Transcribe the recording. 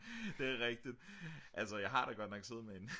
det er rigtigt altså jeg har da godt nok siddet med en